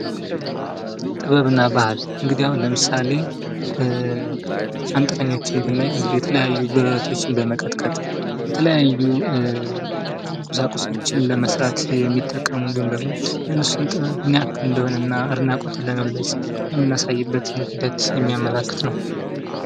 ጥበብ እና ባህል እንግዲህ አሁን ለምሳሌ አንጥረኛዎችን ብናይ እንግዲህ የተለያዩ ብረቶችን በመቀጥቀጥ ፣ የተለያዩ ቁሳቁሶችን ለመስራት የሚጠቀሙ እንዲሁም ደግሞ የእነሱን ጥበብ ምን ያህል እንደሆነና አድናቆትን ለመግለፅ የምናሳይበት ሂደትን የሚያመላክት ነው ።